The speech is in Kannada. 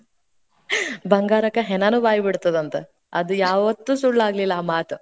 ಬಂಗಾರ್ಕ ಹೆಣಾನೂ ಬಾಯಿ ಬಿಡ್ತದ ಅಂತ, ಅದು ಯಾವತ್ತೂ ಸುಳ್ಳಾಗ್ಲಿಲ್ಲಾ ಆ ಮಾತ್.